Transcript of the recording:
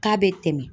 K'a bɛ tɛmɛ